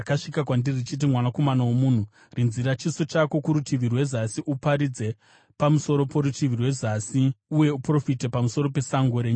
“Mwanakomana womunhu, rinzira chiso chako kurutivi rwezasi; uparidze pamusoro porutivi rwezasi uye uprofite pamusoro pesango renyika yezasi.